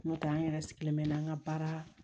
N'o tɛ an yɛrɛ sigilen bɛ n'an ka baara